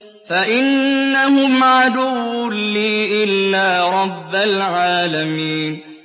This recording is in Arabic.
فَإِنَّهُمْ عَدُوٌّ لِّي إِلَّا رَبَّ الْعَالَمِينَ